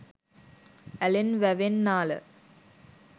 ඇලෙන් වැවෙන් නාල